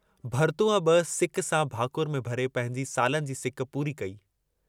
भरतूअ बि सिक सां भाकुर में भरे पंहिंजी सालनि जी सिक पूरी कई।